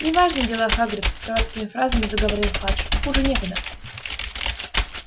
неважные дела хагрид короткими фразами заговорил фадж хуже некуда